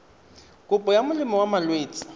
kopo ya molemo wa malwetse